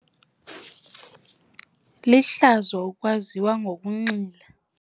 Lihlazo ukwaziwa ngokunxila.